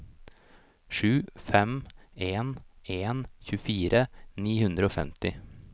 sju fem en en tjuefire ni hundre og femti